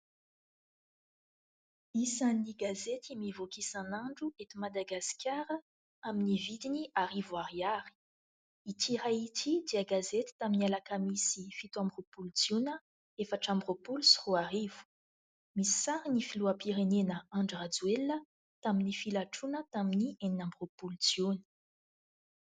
Isany gazety mivoaka isan'andro ety Madagasikara amin'ny vidiny arivo ariary. Ity iray ity dia gazety tamin'ny alakamisy fito amby roapolo jiona efatra amby roapolo sy roa arivo ; misy sary ny filoham-pirenena Andry Rajoelina tamin'ny filatroana tamin'ny enina amby roapolo jiona.